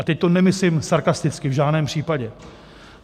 A teď to nemyslím sarkasticky, v žádném případě.